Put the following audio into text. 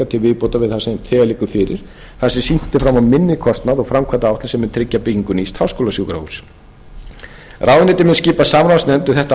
til viðbótar viðbótar við það sem þegar liggur fyrir þar sem sýnt er fram á minni kostnað og framkvæmdaáætlun sem mun tryggja byggingu nýs háskólasjúkrahúss ráðuneytið mun skipa samráðsnefnd um þetta